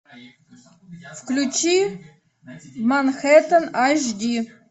включи манхэттен аш ди